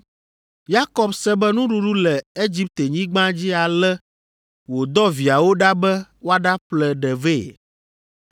Yakob se be nuɖuɖu le Egiptenyigba dzi ale wòdɔ viawo ɖa be woaɖaƒle ɖe vɛ.